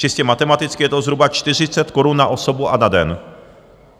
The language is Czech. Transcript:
Čistě matematicky je to zhruba 40 korun na osobu a na den.